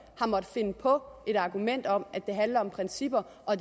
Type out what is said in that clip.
har måttet finde på et argument om at det handler om principper og